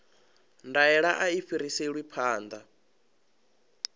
ndaela a i fhiriselwi phanḓa